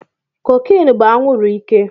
Cocaine bú anwuru ike